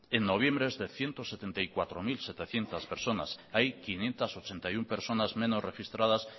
en noviembre es de ciento setenta y cuatro mil setecientos personas hay quinientos ochenta y uno personas menos registradas